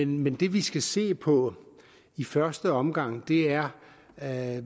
men det vi skal se på i første omgang er at